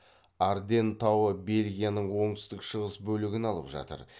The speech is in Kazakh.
арденн тауы бельгияның оңтүстік шығыс бөлігін алып жатыр